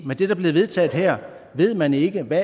med det der bliver vedtaget her ved man ikke hvad